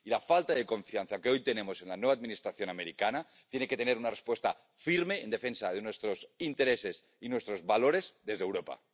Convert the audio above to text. La falta de confianza que hoy tenemos en la nueva Administración estadounidense tiene que tener una respuesta firme en defensa de nuestros intereses y nuestros valores desde Europa.